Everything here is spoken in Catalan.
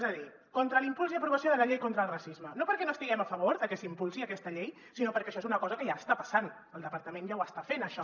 és a dir contra l’impuls i aprovació de la llei contra el racisme no perquè no estiguem a favor de que s’impulsi aquesta llei sinó perquè això és una cosa que ja està passant el departament ja ho està fent això